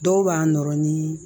Dɔw b'a nɔrɔ ni